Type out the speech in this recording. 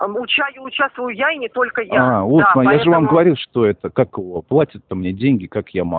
уча участвую я я и не только я я вам же говорил что это как его платит мне деньги как я могу